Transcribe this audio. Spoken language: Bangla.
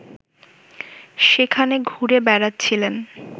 সেখানে ঘুরে বেড়াচ্ছিলেন